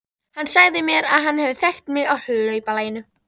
Fólk væri ekki mikið frábrugðið þeim þegar til stykkisins kæmi.